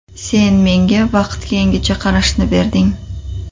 Sen menga vaqtga yangicha qarashni berding.